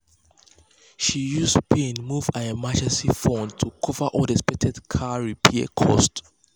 she use pain move her emergency fund to cover unexpected car repair costs.